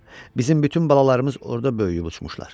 Bizim bütün balalarımız orda böyüyüb uçmuşlar.